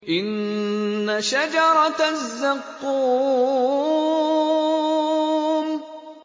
إِنَّ شَجَرَتَ الزَّقُّومِ